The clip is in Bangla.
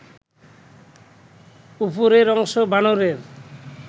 উপরের অংশ বানরের